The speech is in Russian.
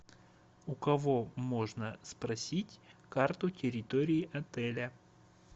у кого можно спросить карту территории отеля